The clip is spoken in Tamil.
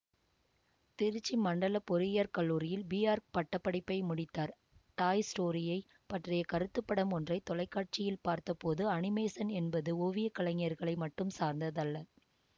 திருச்சி மண்டல பொறியியற் கல்லூரியில் பிஆர்க் பட்ட படிப்பை முடித்தார் டாய் ஸ்டோரியைப் பற்றிய கருத்துப்படம் ஒன்றை தொலைக்காட்சியில் பார்த்த போது அனிமேசன் என்பது ஓவியக்கலைஞர்களை மட்டும் சார்ந்ததல்ல